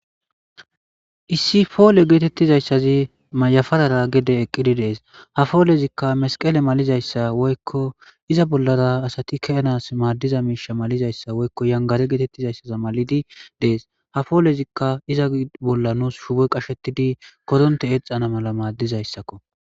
Issi pole getizasazi mayaparara gede eqidi Des ha polezika meskele malizaysa woyko iza bollara asati kezanas misha malizaysa woyko yangare getetizaysa malidi dese ha polezika pizza bolla nus shuboy qashettidi korontey exa na mala madizaysakko